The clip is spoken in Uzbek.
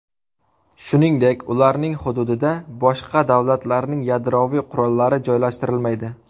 Shuningdek, ularning hududida boshqa davlatlarning yadroviy qurollari joylashtirilmaydi.